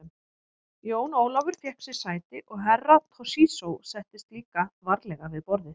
Jón Ólafur fékk sér sæti og Herra Toshizo settist líka varlega við borðið.